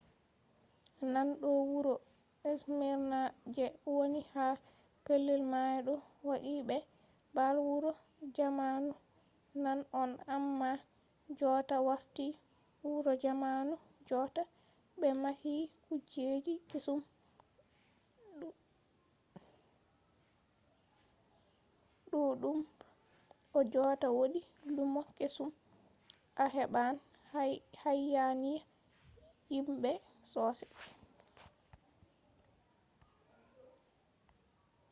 nane no wuro smirna je woni ha pellel mayo ɗo waagi be baalle wuro zamanu nane on amma jotta warti wuro zamanu jotta ɓe mahi kujeji kesum ɗuɗɗumb o jotta wodi lumo kesum a heɓan hayaniya himɓe sosai